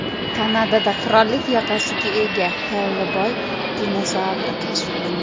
Kanadada qirollik yoqasiga ega Xellboy-dinozavr kashf qilindi.